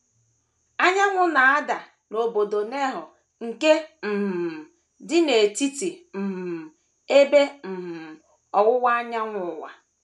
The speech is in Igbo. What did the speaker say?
Anyanwụ na - ada n’obodo Nehoa nke um dị n’Etiti um Ebe um Ọwụwa Anyanwụ Ụwa.